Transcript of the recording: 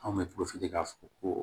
Anw bɛ k'a fɔ ko